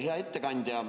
Hea ettekandja!